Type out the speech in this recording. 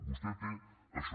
vostè té això